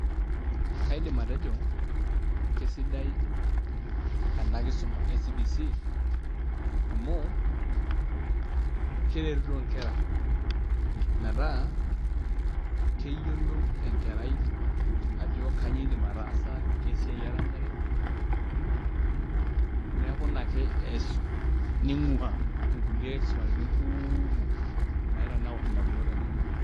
kaidim aejo, kisidai ena kisuma e cbc amu keretito nker.a meta keyiolou enkerai ajo kainyioo eidim ataasa kesiiai erenyare, neku ina ake ees ning'ua nkulie kisumaritin kuuumok naitanaur idamunot enyenak.